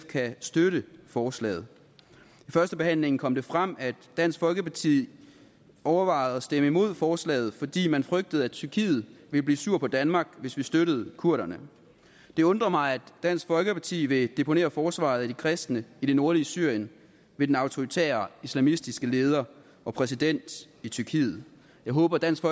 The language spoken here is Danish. kan støtte forslaget i førstebehandlingen kom det frem at dansk folkeparti overvejede at stemme imod forslaget fordi man frygtede at tyrkiet ville blive sur på danmark hvis vi støttede kurderne det undrer mig at dansk folkeparti vil deponere forsvaret af de kristne i det nordlige syrien ved den autoritære islamistiske leder og præsident i tyrkiet jeg håber dansk